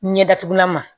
Ɲɛdatugulama